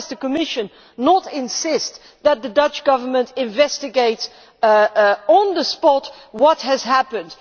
Why does the Commission not insist that the Dutch Government investigates on the spot what has happened?